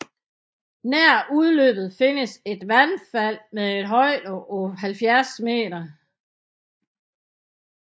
Nær udløbet findes et vandfald med en højde på 70 m